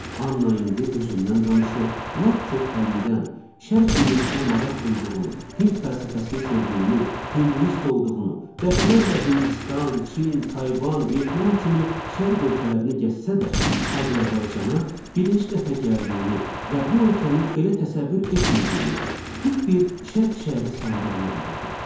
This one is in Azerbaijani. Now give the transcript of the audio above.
Anna indi özündən danışır, lap körpəlikdən Şərq dünyasına maraq duyduğunu, Hind fəlsəfəsini sevdiyini, Hinduist olduğunu, dəfələrlə Hindistan, Çin, Tayvan, Vyetnam kimi Şərq ölkələrini gəzsə də, Azərbaycana birinci dəfə gəldiyini və bu ölkəni belə təsəvvür etmədiyini, tipik bir Şərq şəhəri sandığını deyirdi.